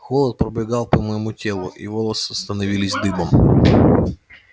холод пробегал по моему телу и волоса становились дыбом